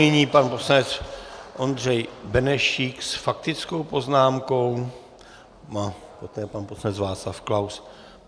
Nyní pan poslanec Ondřej Benešík s faktickou poznámkou, poté pan poslanec Václav Klaus.